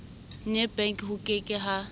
nebank ho ke ke ha